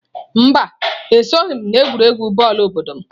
Mba, esoghị m n'egwuregwu bọọlụ obodo m.